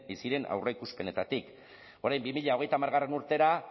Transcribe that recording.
ziren aurreikuspenetatik orain bi mila hogeita hamar urtera